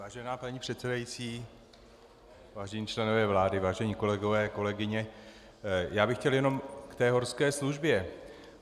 Vážená paní předsedající, vážení členové vlády, vážení kolegové, kolegyně, já bych chtěl jenom k té horské službě.